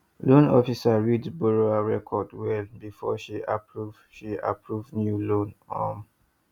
loan officer read borrower record well before she approve she approve new loan um